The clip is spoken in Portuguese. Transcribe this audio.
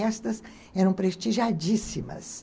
Festas eram prestigiadíssimas.